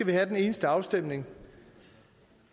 det er den eneste afstemning